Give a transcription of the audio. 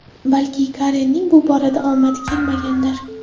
Balki Karenning bu borada omadi kelmagandir?